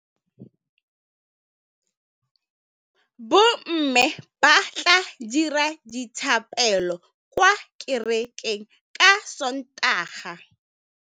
Bommê ba tla dira dithapêlô kwa kerekeng ka Sontaga.